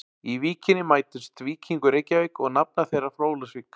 Í Víkinni mætust Víkingur Reykjavík og nafnar þeirra frá Ólafsvík.